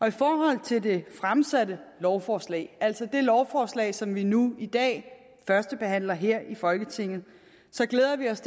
i forhold til det fremsatte lovforslag altså det lovforslag som vi nu i dag førstebehandler her i folketinget glæder vi os